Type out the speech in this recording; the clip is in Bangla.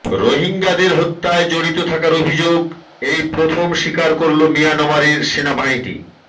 রোহিঙ্গাদের হত্যায় জড়িত থাকার অভিযোগ এই প্রথম স্বীকার করলো মিয়ানমারের সেনাবাহিনী